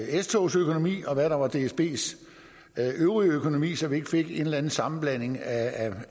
s togs økonomi og hvad der var dsbs øvrige økonomi så vi ikke fik en eller anden sammenblanding af